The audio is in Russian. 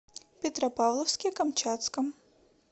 петропавловске камчатском